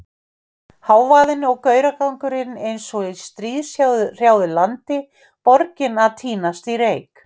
Hávaðinn og gauragangurinn eins og í stríðshrjáðu landi, borgin að týnast í reyk.